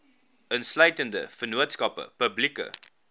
insluitende vennootskappe publieke